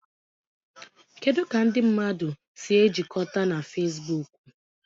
Kedu ka ndị mmadụ si ejikọta na Fezbuuku?